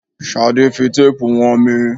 Ṣadé fi téèpu wọn mí.